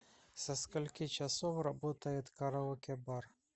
со скольки часов работает караоке бар